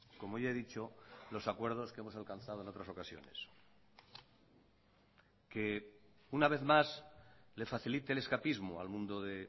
como ya he dicho los acuerdos que hemos alcanzado en otras ocasiones que una vez más le facilite el escapismo al mundo de